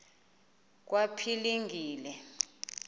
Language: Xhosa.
kwaphilingile